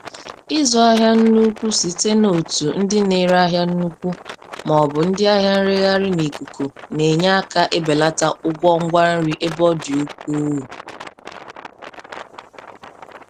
Ịzụ ahịa n'ukwu site n'otu ndị na-ere ahịa n'ukwu ma ọ bụ ndị ahịa nreghaghị n'ikuku na-enye aka ebelata ụgwọ ngwa nri ebe ọ dị ukwuu.